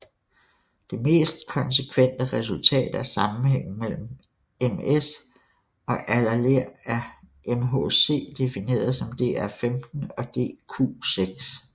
Det mest konsekvente resultat er sammenhængen mellem MS og alleler af MHC defineret som DR15 og DQ6